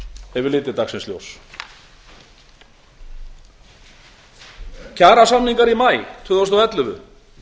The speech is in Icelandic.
hefur litið dagsins ljós kjarasamningar í maí tvö þúsund og ellefu